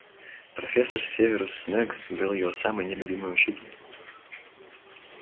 профессор северус снегг был его самый нелюбимый учитель